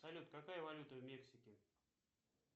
салют какая валюта в мексике